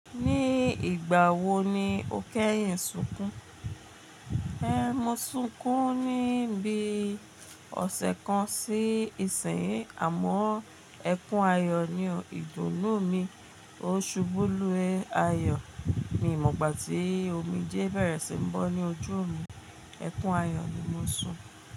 Ní ìgbà wo ni o kẹ́yìn sunkún? Ehn, mo sunkún ní bi ọ̀sẹ̀ kan sí ìsìn, àmọ́ ẹkún ayọ̀ ni ìdùnnú mi. Oṣù bu lu ayọ̀ mi mo ìgbà tí omijé bẹ̀rẹ̀ sí ń bọ́ ní ojú mi. Ẹkún ayọ̀ ni mo sun.